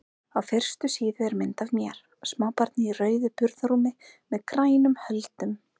Á fyrstu síðu er mynd af mér, smábarni í rauðu burðarrúmi með grænum höldum.